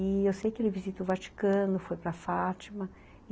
E eu sei que ele visita o Vaticano, foi para Fátima.